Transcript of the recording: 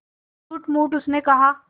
झूठमूठ उसने कहा